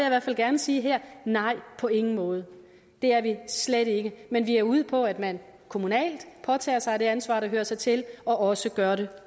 i hvert fald gerne sige her nej på ingen måde det er vi slet ikke men vi er ude på at man kommunalt påtager sig det ansvar der hører sig til og også gør det